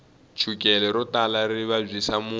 chukele ro tala ri vabyisa munhu